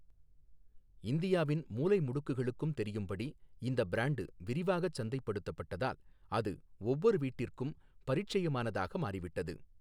இந்தியாவின் மூலை முடுக்குகளுக்கும் தெரியும்படி இந்த பிராண்டு விரிவாகச் சந்தைப்படுத்தப்பட்டதால் அது ஒவ்வொரு வீட்டிற்கும் பரீட்சயமானதாக மாறிவிட்டது.